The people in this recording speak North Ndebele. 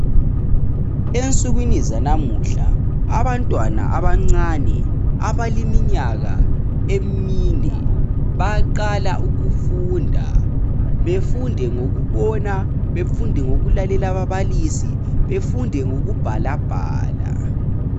Ensukwini zanamuhla abantwana abancane abaleminyaka emine bayaqala ukufunda. Befunde ngokubona, befunde ngokulalela ababalisi befunde ngokubhalabhala.